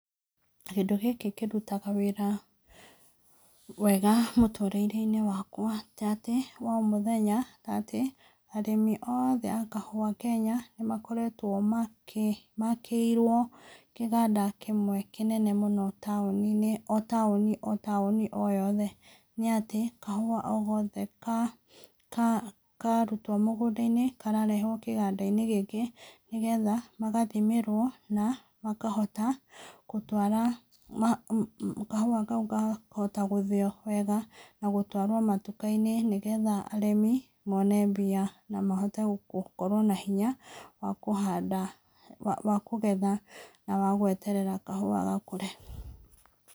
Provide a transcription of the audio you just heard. Kĩndũ gĩkĩ kĩrutaga wĩra wega mũtũrĩre-inĩ wakwa ta atĩ wa o mũthenya, ta atĩ arĩmi othe a kahua Kenya nĩmakoretwo makĩ, makĩirwo kĩganda kĩmwe kĩnene mũno taũni-inĩ, o taũni o taũni o yothe, nĩ atĩ kahau o gothe ka ka karutwo mũgũnda-inĩ kararehwo kĩganda-inĩ gĩkĩ, nĩgetha magathimĩrwo, na makahota gũtwara, kahua kau gakahota gũthĩo wega na gũtwarwo matuka-inĩ, nĩgetha arĩmi mone mbia, na mahote gũkorwo na hinya wa kũhanda, wa kũgetha na wa gweterera kahua gakũre.